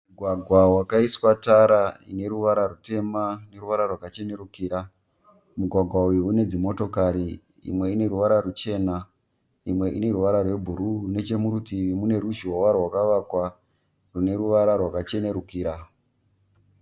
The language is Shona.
Mugwagwa wakaiswa tara une ruvara rwutema neruvara rwakachenerukira. Mugwagwa uyu une dzimotikari imwe ine ruvara rwuchena imwe ine ruvara rwebhuruu. Nechemurutivi mune ruzhowa rwakavakwa rwune ruvara rwakachenurukira.